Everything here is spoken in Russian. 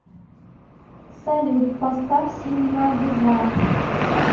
салют поставь синема бизар